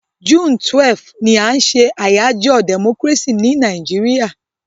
June 12 ni a n se àyájó democracy ni Naijiria